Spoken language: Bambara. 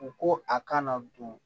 U ko a kana don